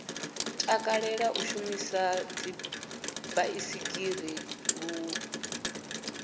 takalela u shumisa dzibaisigila ḓuvha